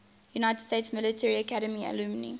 united states military academy alumni